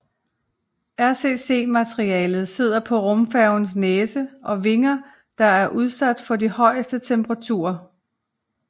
RCC materialet sidder på rumfærgens næse og vinger der er udsat for de højeste temperaturer